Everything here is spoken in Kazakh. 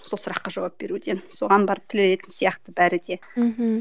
сол сұраққа жауап беруден соған барып тірелетін сияқты бәрі де мхм